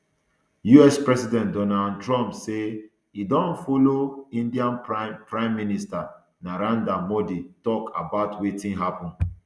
us president donald um trump say e don follow india prime prime minister narendra modi tok about wetin happun